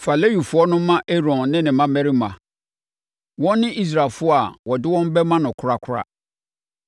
Fa Lewifoɔ no ma Aaron ne ne mmammarima; wɔn ne Israelfoɔ a wɔde wɔn bɛma no korakora.